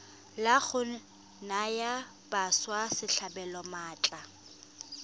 la go naya batswasetlhabelo maatla